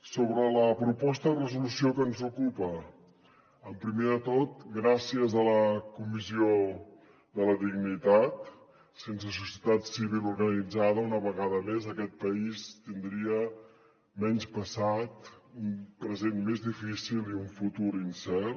sobre la proposta de resolució que ens ocupa primer de tot gràcies a la comissió de la dignitat sense societat civil organitzada una vegada més aquest país tindria menys passat un present més difícil i un futur incert